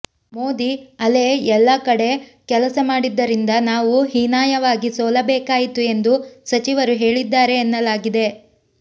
ಮೋದಿ ಅಲೆ ಎಲ್ಲ ಕಡೆ ಕೆಲಸ ಮಾಡಿದ್ದರಿಂದ ನಾವು ಹೀನಾಯವಾಗಿ ಸೋಲಬೇಕಾಯಿತು ಎಂದು ಸಚಿವರು ಹೇಳಿದ್ದಾರೆ ಎನ್ನಲಾಗಿದೆ